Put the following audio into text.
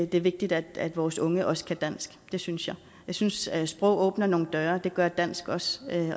det er vigtigt at vores unge også kan dansk det synes jeg jeg synes at sprog åbner nogle døre det gør dansk også